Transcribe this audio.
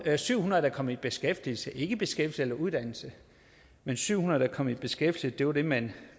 syv hundrede der kom i beskæftigelse ikke i beskæftigelse uddannelse men syv hundrede der kom i beskæftigelse var det man